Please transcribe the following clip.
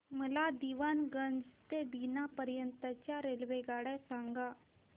मला दीवाणगंज ते बिना पर्यंत च्या रेल्वेगाड्या सांगा